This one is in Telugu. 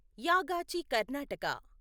యాగాచి కర్ణాటక